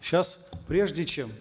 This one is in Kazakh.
сейчас прежде чем